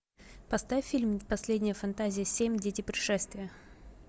поставь фильм последняя фантазия семь дети пришествия